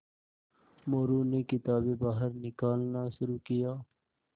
मोरू ने किताबें बाहर निकालना शुरू किया